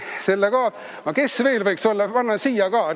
Kes veel võiks olla?